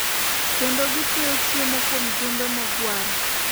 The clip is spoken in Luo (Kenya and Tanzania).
kendo gitweyo chiemo kuom jumbe mogwaro.